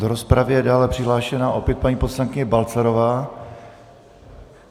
Do rozpravy je dále přihlášena opět paní poslankyně Balcarová.